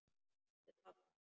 Með pabba.